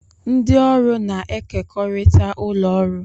Ndị ọrụ na-ekekọrịta ụlọ ọrụ